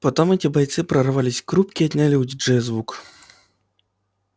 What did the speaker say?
потом эти бойцы прорвались к рубке и отняли у диджея звук